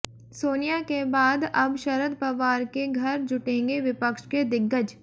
सोनिया के बाद अब शरद पवार के घर जुटेंगे विपक्ष के दिग्गज